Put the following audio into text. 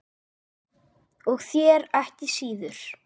Og þér ekki síður